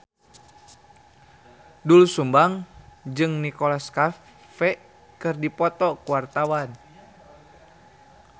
Doel Sumbang jeung Nicholas Cafe keur dipoto ku wartawan